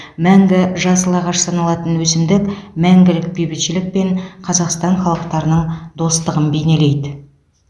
мәңгі жасыл ағаш саналатын өсімдік мәңгілік бейбітшілік пен қазақстан халықтарының достығын бейнелейді